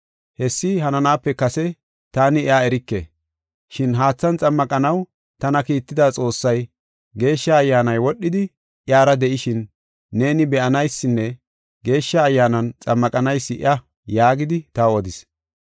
Hessi hananaape kase taani iya erike. Shin haathan xammaqanaw tana kiitida Xoossay, ‘Geeshsha Ayyaanay wodhidi iyara de7ishin neeni be7anaysinne Geeshsha Ayyaanan xammaqanaysi iya’ yaagidi taw odis.